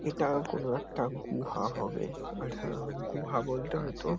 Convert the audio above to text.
এটা কোনো একটা গুহা হবে। আর হা গুহা বলতে হয়তো --